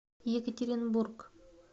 екатеринбург